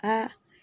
Aa